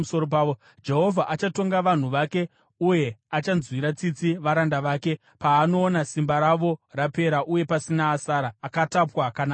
Jehovha achatonga vanhu vake uye achanzwira tsitsi varanda vake, paanoona simba ravo rapera uye pasina asara, akatapwa kana asina.